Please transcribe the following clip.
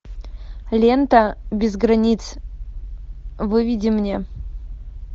лента без границ выведи мне